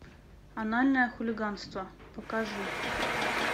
анальное хулиганство покажи